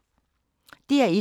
DR1